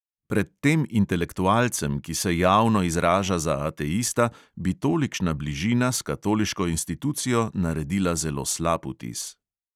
Pred tem intelektualcem, ki se javno izraža za ateista, bi tolikšna bližina s katoliško institucijo naredila zelo slab vtis.